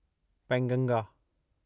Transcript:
Penganga